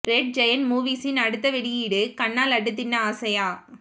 red giant மூவிஸின் அடுத்த வெளியீடு கண்ணா லட்டு தின்ன ஆசையா